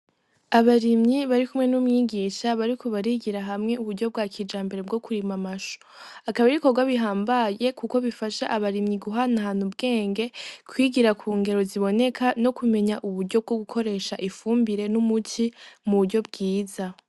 Abarimyi barikumwe n' umwigisha bariko barigira hamwe uburyo bwa kijambere bwo kurima amashu akaba ari ibikogwa bihambaye kuko bifasha abarimyi guhana hana ubwenge kwigira ku ngero ziboneka no kumenya uburyo bwo gukoresha ifumbire n' umuti mu buryo bwiza.